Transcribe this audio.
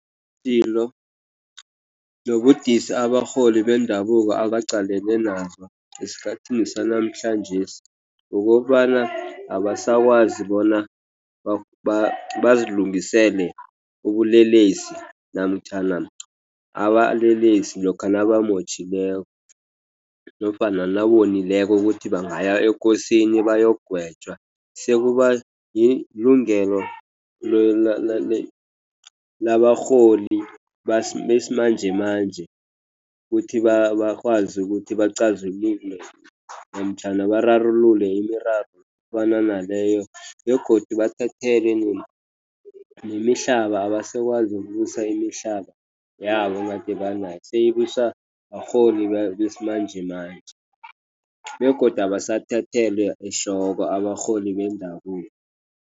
Ipilo nobudisi abarholi bendabuko abaqalene nabo esikhathini sanamhlanjesi kukobana abasakwazi bona bazilungisele ubulelesi namtjhana abalelesi lokha nabamotjhileko nofana nabonileko ukuthi bangaya ekosini bayokugwetjwa. Sekuba yilungelo labarholi besimanjemanje kuthi bakwazi ukuthi basichazela into namtjhana bararululele imiraro efana naleyo. Begodu bathathelwe nemihlaba. Abasakwazi kubusa imihlaba yabo egade banayo. Seyibuswa barholi besimanjemanje. Begodu abasathathelwa ehloko abarholi bendabuko.